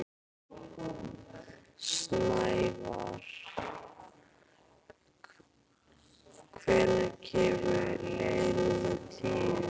Snævarr, hvenær kemur leið númer tíu?